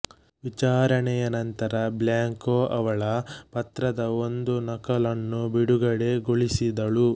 ವಿಚಾರಣೆಯ ನಂತರ ಬ್ಲ್ಯಾಂಕೊ ಅವಳ ಪತ್ರದ ಒಂದು ನಕಲನ್ನು ಬಿಡುಗಡೆಗೊಳಿಸಿದಳು